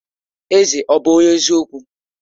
Eze ọ̀ bụ onye eziokwu?